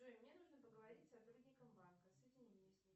джой мне нужно поговорить с сотрудником банка соедини меня с ним